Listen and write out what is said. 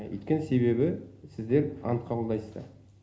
өйткені себебі сіздер ант қабылдайсыздар